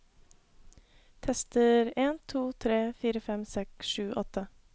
Tester en to tre fire fem seks sju åtte